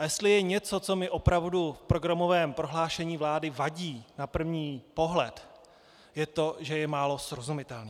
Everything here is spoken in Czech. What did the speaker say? A jestli je něco, co mi opravdu v programovém prohlášení vlády vadí na první pohled, je to, že je málo srozumitelné.